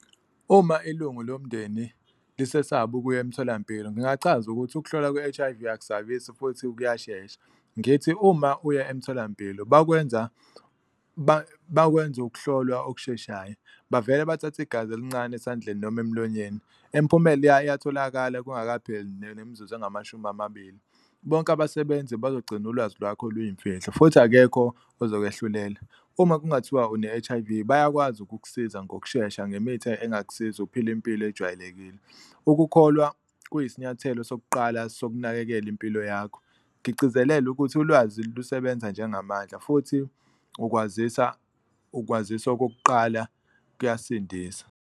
Uma ilungu lomndeni lisesaba ukuya emtholampilo ngingachaza ukuthi ukuhlolwa kwe-H_I_V akusabisi futhi kuyashesha, ngithi uma uya emtholampilo bakwenza bawenza ukuhlolwa okusheshayo. Bavele bathathe igazi elincane esandleni noma emlonyeni, imiphumela iyatholakala kungakapheli nemizuzu engamashumi amabili, bonke abasebenzi bazogcina ulwazi lwakho luyimfihlo futhi akekho ozokwehlulela. Uma kungathiwa une-H_I_V bayakwazi ukukusiza ngokushesha ngemithi [? engakusiza ukuphila impilo ejwayelekile, ukukholwa kuyisinyathelo sokuqala sokunakekela impilo yakho, ngigcizelele ukuthi ulwazi lusebenza njengamandla futhi ukwazisa ukwazisa okokuqala kuyasindisa.